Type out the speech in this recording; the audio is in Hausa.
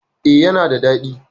E, yana da daɗi.